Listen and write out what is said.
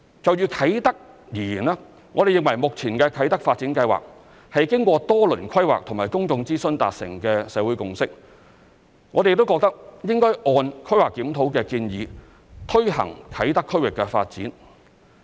就啟德而言，我們認為目前的啟德發展計劃是經過多輪規劃和公眾諮詢達成的社會共識，我們亦認為應按規劃檢討的建議推行啟德區域的發展。